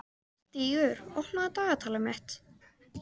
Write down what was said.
Stígur, opnaðu dagatalið mitt.